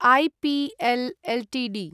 APL Ltd